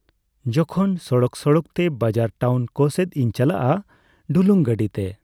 ᱡᱚᱠᱷᱚᱱ ᱥᱚᱲᱚᱠ ᱥᱚᱲᱚᱠᱛᱮ ᱵᱟᱡᱟᱨ ᱴᱟᱣᱩᱱ ᱠᱚᱥᱮᱫ ᱤᱧ ᱪᱟᱞᱟᱜᱼᱟ ᱰᱩᱞᱩᱝ ᱜᱟᱹᱰᱤᱛᱮ